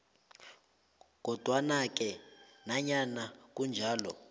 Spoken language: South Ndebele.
kodwanake nanyana kunjalo